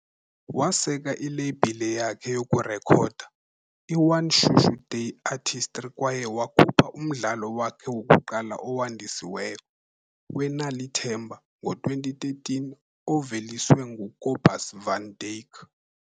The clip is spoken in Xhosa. Waseka ileyibhile yakhe yokurekhoda, iOne Shushu Day Artistry kwaye wakhupha umdlalo wakhe wokuqala owandisiweyo "weNal'ithemba", ngo-2013 oveliswe nguCobus Van Dyk.